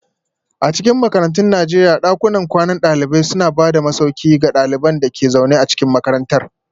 A cikin makarantun Najeriya, dakunan kwanan dalibai suna ba da masauki ga ɗaliban da ke zaune a cikin makarantar.